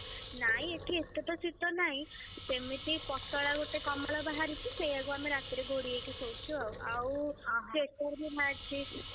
ନାଇଁ ଏଠି ଏତେ ତ ଶୀତ ନାହିଁ, ସେମିତି ପତଳା ଗୋଟେ କମଳ ବାହାରିଛି। ସେଇଆକୁ ଆମେ ରାତିରେ ଘୋଡ଼େଇ ହେଇକି ଶୋଉଛୁ ଆଉ ଆଉ sweater ବି ବାହାରିଛି।